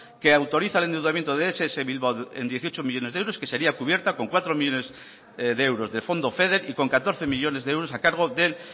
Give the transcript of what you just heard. que autoriza el endeudamiento de ess bilbao en dieciocho millónes de euros que sería cubierta con cuatro millónes de fondo feder y con catorce millónes de euros a cargo del